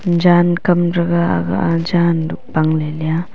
jan kamraga aga aa jan luk bangley leya.